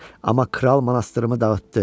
Amma kral monastırımı dağıtdı.